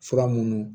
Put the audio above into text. Fura munnu